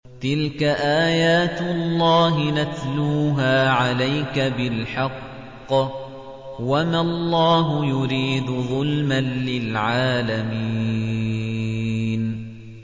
تِلْكَ آيَاتُ اللَّهِ نَتْلُوهَا عَلَيْكَ بِالْحَقِّ ۗ وَمَا اللَّهُ يُرِيدُ ظُلْمًا لِّلْعَالَمِينَ